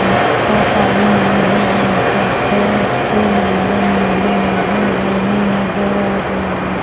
उसका पानी नीले रंग का है उसके अंदर नीली-नीली लाइनिंग नजर आ रही है।